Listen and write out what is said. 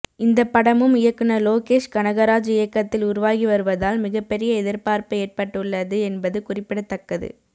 இந்தப் படமும் இயக்குனர் லோகேஷ் கனகராஜ் இயக்கத்தில் உருவாகி வருவதால் மிகப்பெரிய எதிர்பார்ப்பு ஏற்பட்டுள்ளது என்பது குறிப்பிடத்தக்கது